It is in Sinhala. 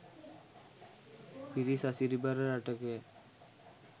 පිරි සසිරිබර රටකය.